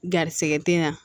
Garisigɛ tɛ na